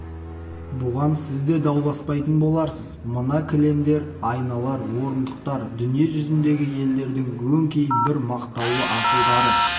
бұған сіз де дауласпайтын боларсыз мына кілемдер айналар орындықтар дүние жүзіндегі елдердің өңкей бір мақтаулы асылдары